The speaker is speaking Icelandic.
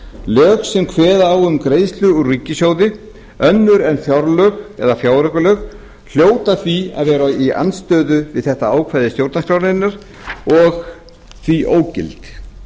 lög sem kveða á um greiðslu úr ríkissjóði önnur en fjárlög eða fjáraukalög hljóta því að vera í andstöðu við þetta ákvæði stjórnarskrárinnar og því ógild